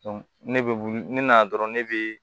ne bɛ ne nana dɔrɔn ne bɛ